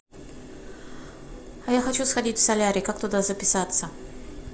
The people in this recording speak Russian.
а я хочу сходить в солярий как туда записаться